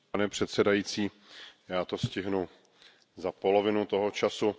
Pane předsedající, já to stihnu za polovinu toho času.